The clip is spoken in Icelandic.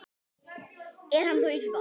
Er hann þó ýmsu vanur.